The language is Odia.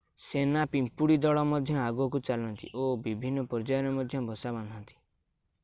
ସେନା ପିମ୍ପୁଡ଼ି ଦଳ ମଧ୍ୟ ଆଗକୁ ଚାଲନ୍ତି ଓ ବିଭିନ୍ନ ପର୍ଯ୍ୟାୟରେ ମଧ୍ୟ ବସା ବାନ୍ଧନ୍ତି